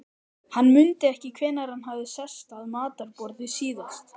Hann mundi ekki hvenær hann hafði sest að matarborði síðast.